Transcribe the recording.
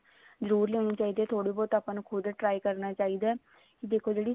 ਜਰੁਰ ਲੈਣੀ ਚਾਹੀਦੀ ਹੈ ਥੋੜਾ ਬਹੁਤ ਆਪਾਂ ਨੂੰ ਖੁਦ try ਕਰਨਾ ਚਾਹੀਦਾ ਵੀ ਦੇਖੋ ਜਿਹੜੀਆਂ